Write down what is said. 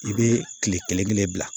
I bɛ kile kelen kelen bila